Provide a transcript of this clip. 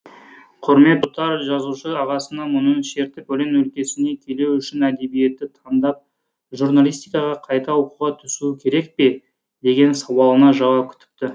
құрмет тұтар жазушы ағасына мұңын шертіп өлең өлкесіне келуі үшін әдебиетті таңдап журналистикаға қайта оқуға түсуі керек пе деген сауалына жауап күтіпті